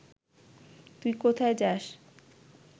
তুই কোথায় যাস